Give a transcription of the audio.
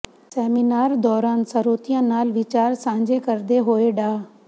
seminar ਦੌਰਾਨ ਸਰੋਤਿਆਂ ਨਾਲ ਵਿਚਾਰ ਸਾਂਝੇ ਕਰਦੇ ਹੋਏ ਡਾ